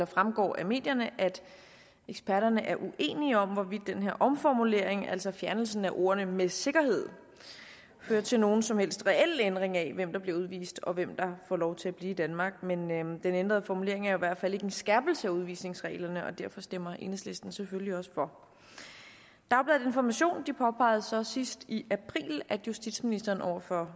fremgår af medierne at eksperterne er uenige om hvorvidt den her omformulering altså fjernelse af ordene med sikkerhed fører til nogen som helst reel ændring af hvem der bliver udvist og hvem der får lov til at blive i danmark men den ændrede formulering er i hvert fald ikke en skærpelse af udvisningsreglerne og derfor stemmer enhedslisten selvfølgelig også for dagbladet information påpegede så sidst i april at justitsministeren over for